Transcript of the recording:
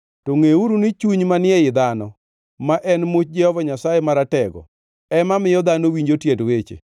To ngʼeuru ni chuny manie i dhano, ma en much Jehova Nyasaye Maratego, ema miyo dhano winjo tiend weche.